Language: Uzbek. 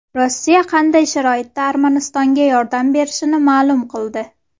Rossiya qanday sharoitda Armanistonga yordam berishini ma’lum qildi.